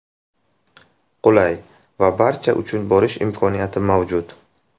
Qulay va barcha uchun borish imkoniyati mavjud.